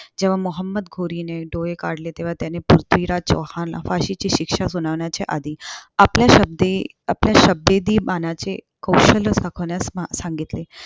जेव्हा मोहोम्मद घोरीने डोळे काढले. तेव्हा त्याने पृथ्वीराज चौहानला फाशीची शिक्षा सुनावण्याच्या आधी आपल्या शब्दी आपल्या शब्दभेदी बाणाचे कौशल्य दाखवण्यास सांगितले.